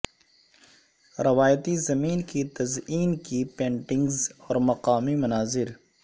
روایتی زمین کی تزئین کی پینٹنگز اور مقامی مناظر